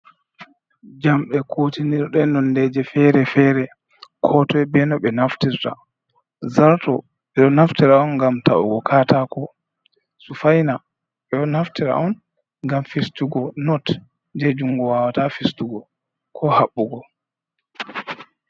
Jamde kutinirɗe, nondeji fere-fere ko to be no ɓe naftirta, zarto ɓe ɗo naftira on ngam taugo katako, sufaina ɓeɗo naftira on ngam fistugo not je jungo wawata fistugo ko Haɓɓugo.